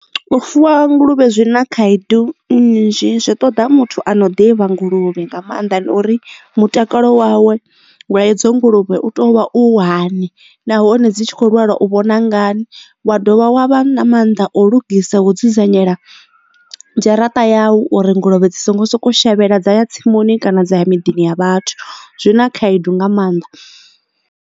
U fuwa nguluvhe zwi na khaedu nnzhi zwi ṱoḓa muthu ano ḓivha nguluvhe nga maanḓa nori mutakalo wawe wa e dzo nguluvhe u to vha u hani nahone dzi tshi kho lwala u vhona ngani wa dovha wa vha na mannḓa o lugisa wo dzudzanyela dzharaṱa yau uri nguluvhe dzi songo soko shavhela dza ya tsimuni kana dza ya miḓini ya vhathu zwi na khaedu nga maanḓa.